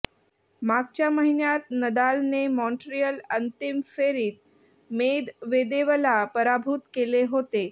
मागच्या महिन्यात नदालने माँट्रियल अंतिम फेरीत मेदवेदेवला पराभूत केले होते